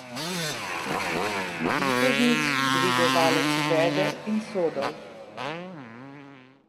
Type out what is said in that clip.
Vitežnik, dvigovalec veder in sodov.